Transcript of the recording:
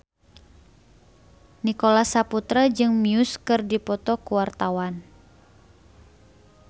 Nicholas Saputra jeung Muse keur dipoto ku wartawan